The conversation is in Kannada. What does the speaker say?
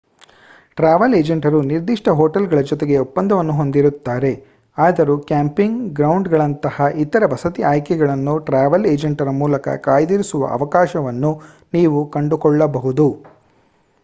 ಟ್ರಾವೆಲ್ ಏಜೆಂಟರು ನಿರ್ದಿಷ್ಟ ಹೋಟೆಲ್‌ಗಳ ಜೊತೆಗೆ ಒಪ್ಪಂದವನ್ನು ಹೊಂದಿರುತ್ತಾರೆ ಆದರೂ ಕ್ಯಾಂಪಿಂಗ್ ಗ್ರೌಂಡ್‌ಗಳಂತಹ ಇತರ ವಸತಿ ಆಯ್ಕೆಗಳನ್ನು ಟ್ರಾವೆಲ್‌ ಏಜೆಂಟರ ಮೂಲಕ ಕಾಯ್ದಿರಿಸುವ ಅವಕಾಶವನ್ನು ನೀವು ಕಂಡುಕೊಳ್ಳಬಹುದು